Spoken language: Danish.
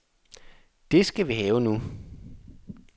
Det skal vi have nu.